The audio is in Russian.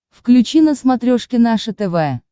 включи на смотрешке наше тв